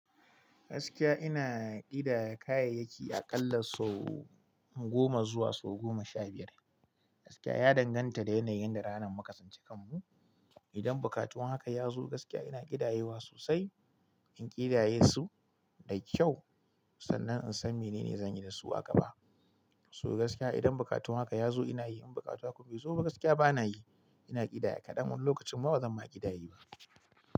Gaskiya ina ƙidaya kayayyaki aƙalla sau goma zuwa sau goma sha biyar. Gaskiya ya danganta da yanayin da ranar muka tsinci kanmu. Idan buƙatun haka ya zo, gaskiya ina ƙidayewa sosai. In ƙidaye su da kyau sannan insan menene zan yi da su a gaba. So gaskiya idan buƙatun haka ya zo ina yi, in bukata ku bai zo ba gaskiya bana yi. Ina ƙidaya, ƙaɗan lokacin ma bazan ma ƙidaye ba.